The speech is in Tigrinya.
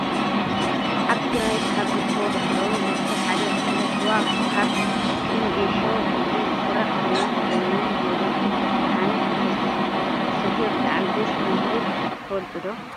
ኣብ ትግራይ ካብ ዝርከቡ ባህላዊ መስተ ሓደ ዝኮነ ስዋ ካብ እክልን ጌሾ፣ ቡቅሊ ዝስራሕ ኮይኑ፣ ብመለሌክ /ሻሃነ/ ክትሰትዮ ብጣዕሚ ደስ ከምዝብል ትፈልጡ ዶ?